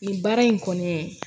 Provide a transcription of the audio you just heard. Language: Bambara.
Nin baara in kɔni